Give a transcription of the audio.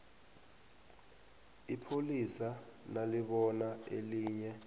ipholisa nalibona elinye